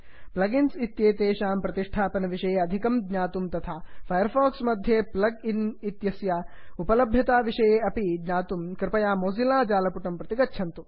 plug इन्स् इत्येतेषां संस्थापनविषये अधिकं ज्ञातुं तथा फैर् फाक्स् मध्ये फग् इन्स् इत्यस्य उपलभ्यताविषये ज्ञातुमपि कृपया मोजिल्ला जालपुटं प्रति गच्छन्तु